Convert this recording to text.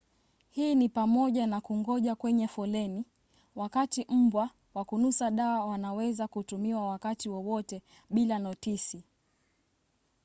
hii ni pamoja na kungoja kwenye foleni wakati mbwa wa kunusa dawa wanaweza kutumiwa wakati wowote bila notisi